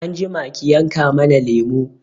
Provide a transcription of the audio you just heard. Anjima ki yanka mana lemo